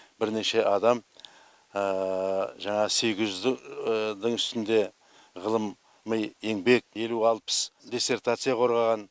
бірнеше адам жаңағы сегіз жүзді ішінде ғылым еңбек елу алпыс диссертация қорғаған